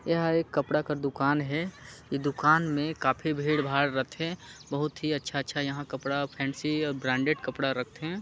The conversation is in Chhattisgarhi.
यह एक कपड़ा का दूकान हे ई दूकान में काफ़ी भीड़-भाड़ रथै बहुत ही अच्छा-अच्छा यहाँ कपड़ा फैंसी ब्रांडेड कपड़ा रक्थे।